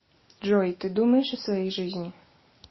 джой ты думаешь о своей жизни